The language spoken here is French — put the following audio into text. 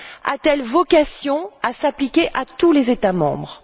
A t elle vocation à s'appliquer à tous les États membres?